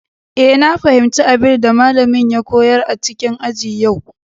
Eh, na fahimci abin da malamin ya koyar a cikin aji a yau.